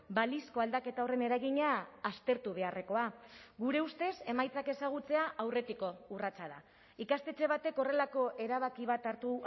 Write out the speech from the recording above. balizko aldaketa horren eragina aztertu beharrekoa gure ustez emaitzak ezagutzea aurretiko urratsa da ikastetxe batek horrelako erabaki bat hartu